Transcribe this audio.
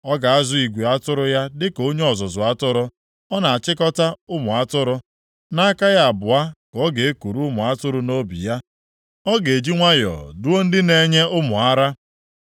Ọ ga-azụ igwe atụrụ ya dịka onye ọzụzụ atụrụ. Ọ na-achịkọta ụmụ atụrụ. Nʼaka ya abụọ ka ọ ga-ekuru ụmụ atụrụ nʼobi ya. Ọ ga-eji nwayọọ duo ndị na-enye ụmụ ara.